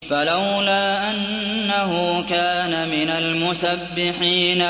فَلَوْلَا أَنَّهُ كَانَ مِنَ الْمُسَبِّحِينَ